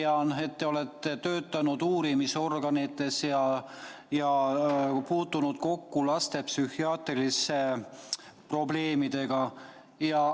Ma tean, et te olete töötanud uurimisorganites ja puutunud kokku laste psühhiaatriliste probleemidega.